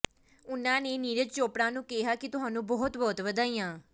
ਉਨ੍ਹਾਂ ਨੇ ਨੀਰਜ ਚੋਪੜਾ ਨੂੰ ਕਿਹਾ ਕਿ ਤੁਹਾਨੂੰ ਬਹੁਤ ਬਹੁਤ ਵਧਾਈਆਂ